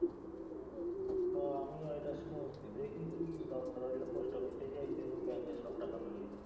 হ আমিও এটা শুনছি। দেখি দরকার হইলে পোস্টঅফিসেই যাইতে হইব ব্যাঙ্কের সব টাকা লইয়া।